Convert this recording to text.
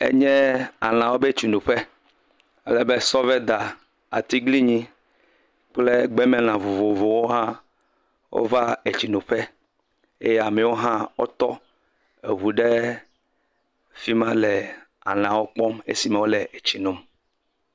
Enye lãwo ƒe tsinoƒe ale be sɔveda, atglinyi kple gbemela vovovowo hã wova etsinoƒe. eye amewo hã wotɔ eŋu ɖe afi ma le lãwo kpɔm esime wo tsi nom.